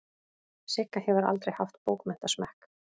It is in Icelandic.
Sigga hefur aldrei haft bókmenntasmekk.